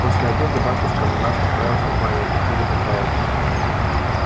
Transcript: после обеда батюшка наш отправился в баню а теперь отдыхает